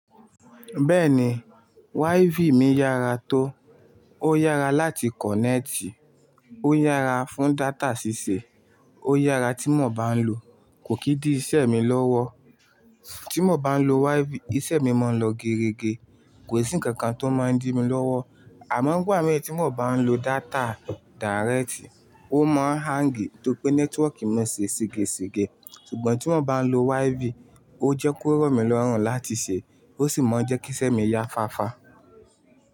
Bẹ́ẹ̀ni, WiFi mi yára tó, ó yára láti kọ̀nẹ́ẹ̀tì, ó yára fún data ṣíṣe, ó yára tí mo bá n lo, kò kí di iṣẹ́ mi lọ́wọ́. Tí mo bá n lo WiFi, iṣẹ́ mi máa ń lọ gerege, kò sí ǹkan kan tó máa ń dí mi lọ́wọ́. Àmọ́ gbà mí ẹ tí mo bá n lo data díréẹ̀tì, ó máa ń hang tó pé nẹ́tíwọ̀ọ̀kì mi ṣe segèsegẹ̀. Ṣùgbọ́n tí mo bá n lo WiFi, ó jẹ́ kó rọ̀ mí lọ́rùn láti ṣe, ó sì máa ń jẹ́ kí iṣẹ́ mi ya fáfá.